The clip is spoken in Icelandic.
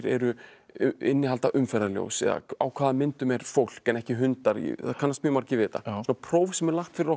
innihalda umferðarljós eða á hvaða myndum er fólk en ekki hundar það kannast mjög margir við þetta svona próf sem er lagt fyrir okkur til